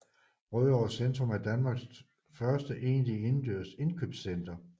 Rødovre Centrum er Danmarks første egentlige indendørs indkøbscenter